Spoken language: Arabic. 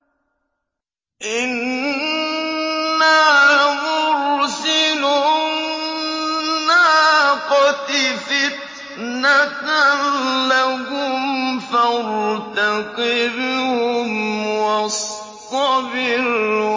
إِنَّا مُرْسِلُو النَّاقَةِ فِتْنَةً لَّهُمْ فَارْتَقِبْهُمْ وَاصْطَبِرْ